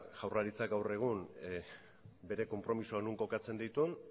jaurlaritzak gaur egun bere konpromezuak non kokatzen dituen